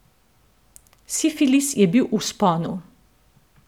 Sifilis je bil v vzponu.